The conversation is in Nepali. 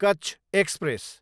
कच्च एक्सप्रेस